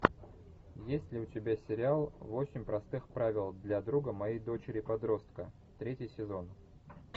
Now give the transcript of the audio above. есть ли у тебя сериал восемь простых правил для друга моей дочери подростка третий сезон